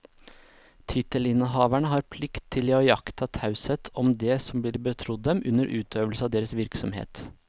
Tittelinnehavere har plikt til å iaktta taushet om det som blir betrodd dem under utøvelse av deres virksomhet.